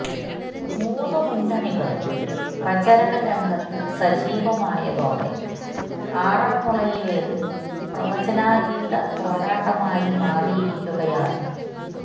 മൂന്ന് മുന്നണികളും പ്രചരണ രംഗത്ത് സജീവമായതോടെ ആറന്മുളയിലേത് പ്രവചനാധീത പോരാട്ടമായി മാറിയിരിക്കുകയാണ്